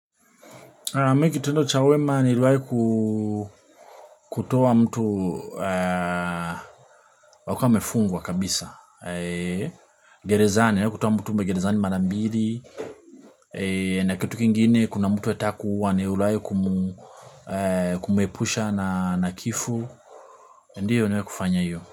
Mimi kitendo cha wema niilwahi ku kutoa mtu alikuwa amefungwa kabisa, gerezani, kutoa mtu gerezani mara mbili, na kitu kingine kuna mtu anataka kuua niliwahi kumuepusha na kifo, ndiyo niwehi kufanya hiyo.